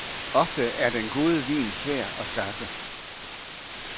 Ofte er den gode vin svær at skaffe.